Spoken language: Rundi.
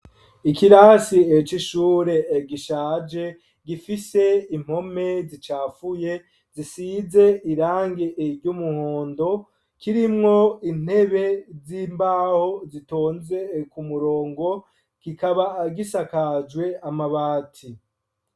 Ikirasi c'ishure gishaje gifise impome zicafuye zisize irangi iry'umuhondo kirimwo intebe z'imbaho zitonze ku murongo kikaba gisakajwe amabati.